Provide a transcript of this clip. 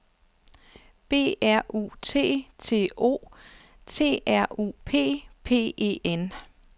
B R U T T O T R U P P E N